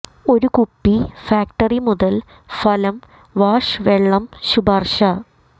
ഒരു കുപ്പി ഫാക്ടറി മുതൽ ഫലം വാഷ് വെള്ളം ശുപാർശ